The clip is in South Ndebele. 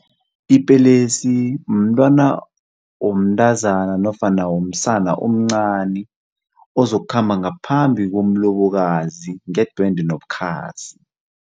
Ipelesi mntwana womntazana nofana womsana omncani ozokukhamba ngaphambi komlobokazi ngedwende nobukhazi.